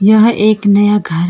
यह एक नया घर है।